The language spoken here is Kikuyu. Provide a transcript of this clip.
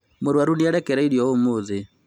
murũaru ni arekereirio ũmũthĩ.